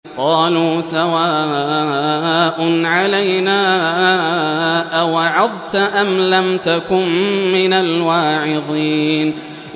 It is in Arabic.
قَالُوا سَوَاءٌ عَلَيْنَا أَوَعَظْتَ أَمْ لَمْ تَكُن مِّنَ الْوَاعِظِينَ